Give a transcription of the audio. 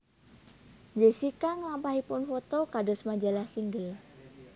Jessica nglampahipun foto kados majalah Single